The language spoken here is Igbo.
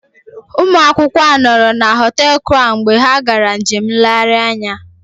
Ụmụ akwụkwọ a nọrọ na họtel Crown mgbe ha gara njem nlegharị anya